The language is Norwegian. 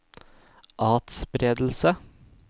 atspredelse